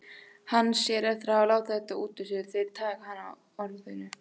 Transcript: Hann sér eftir að hafa látið þetta út úr sér, þeir taka hann á orðinu.